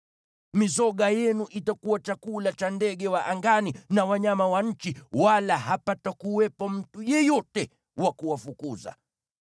Mizoga yenu itakuwa chakula cha ndege wa angani na wanyama wa nchi, wala hapatakuwepo mtu yeyote wa kuwafukuza.